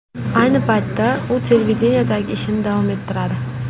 Ayni paytda, u televideniyedagi ishini davom ettiradi.